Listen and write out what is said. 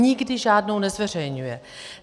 Nikdy žádnou nezveřejňuje.